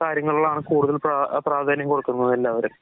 ഇക്കാര്യങ്ങളിലാണ് കൂടുതൽ പ്രാ പ്രാധാന്യം കൊടുക്കുന്നത് എല്ലാവരും.